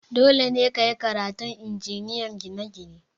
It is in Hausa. Dole ne ka yi karatun Injiniyan ginie-gine!